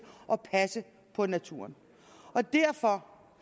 at passe på naturen og derfor